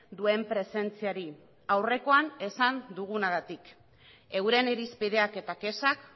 duen presentziari aurrekoan esan dugunagatik euren irizpideak eta kexak